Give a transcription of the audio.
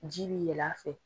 Ji bi yɛlɛ a fɛ.